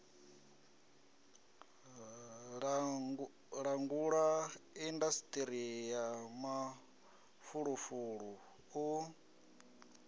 langula indasiṱiri ya mafulufulu u